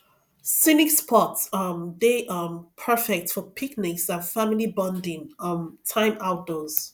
scenic spots um dey um perfect for picnics and family bonding um time outdoors